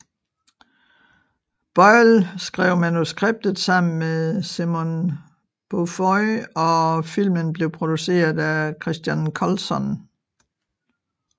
Boyle skrev manuskriptet sammen med Simon Beaufoy og filmen blev produceret af Christian Colson